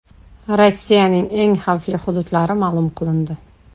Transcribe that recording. Rossiyaning eng xavfli hududlari ma’lum qilindi.